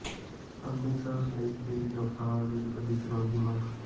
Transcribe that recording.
ਅੰਮ੍ਰਿਤਸਰ ਲਈ ਤੇਜ਼ ਰਫ਼ਤਾਰ ਰੇਲ ਗੱਡੀ ਚਲਾਉਣ ਦੀ ਮੰਗ